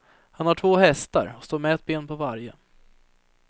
Han har två hästar och står med ett ben på varje.